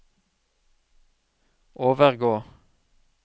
overgå